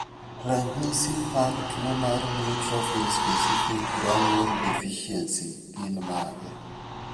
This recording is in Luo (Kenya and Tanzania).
Ranyisi mag tuo mar Neutrophil specific granule deficiency gin mage?